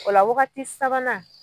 O la wagati sabanan